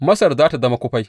Masar za tă zama kufai.